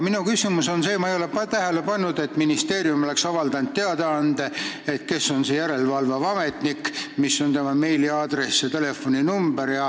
Ma ei ole aga tähele pannud, et ministeerium oleks avaldanud teadaande selle kohta, kes on see järelevalveametnik ning mis on tema meiliaadress ja telefoninumber.